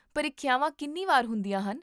ਪ੍ਰੀਖਿਆਵਾਂ ਕਿੰਨੀ ਵਾਰ ਹੁੰਦੀਆਂ ਹਨ?